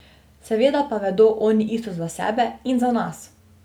Seveda pa vedo oni isto za sebe in za nas.